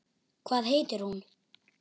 Hvað heitir hún?